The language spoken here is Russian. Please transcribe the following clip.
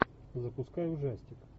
запускай ужастик